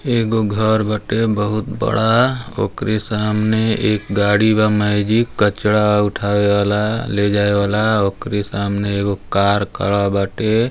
एगो घर बाटे बहुत बड़ा ओकरी सामने एक गाड़ी बा मेजिक कचरा उठाये वाला ले जाये वाला ओकरी सामने एगो कार खड़ा बाटे।